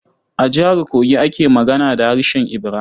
A Jihar Kogi ake magana da harshen Ibira.